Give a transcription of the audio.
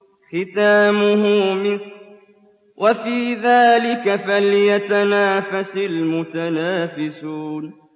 خِتَامُهُ مِسْكٌ ۚ وَفِي ذَٰلِكَ فَلْيَتَنَافَسِ الْمُتَنَافِسُونَ